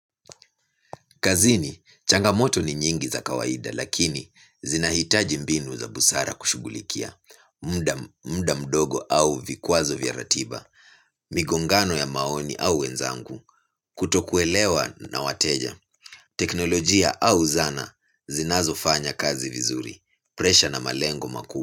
Kazini, changamoto ni nyingi za kawaida lakini zinahitaji mbinu za busara kushughulikia, muda mdogo au vikwazo vya ratiba, migongano ya maoni au wenzangu, kutokuelewa na wateja, teknolojia au zana zinazo fanya kazi vizuri, presha na malengo makuu.